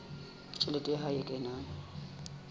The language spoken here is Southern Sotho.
tjhelete ya hae e kenang